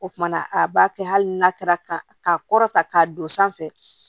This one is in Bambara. O kumana a b'a kɛ hali n'a kɛra ka kɔrɔ ta k'a don sanfɛ